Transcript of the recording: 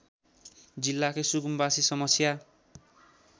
जिल्लाकै सुकुम्वासी समस्या